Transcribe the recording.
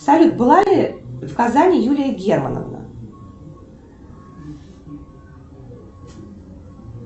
салют была ли в казани юлия германовна